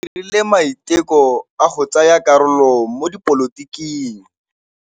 O dirile maitekô a go tsaya karolo mo dipolotiking.